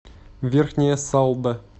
верхняя салда